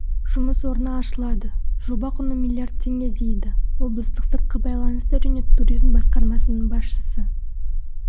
жұмыс орны ашылады жоба құны миллиард теңге дейді облыстық сыртқы байланыстар және туризм басқармасының басшысы